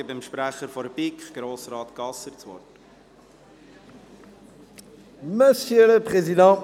Ich erteile dem Sprecher der BiK, Grossrat Gasser, das Wort.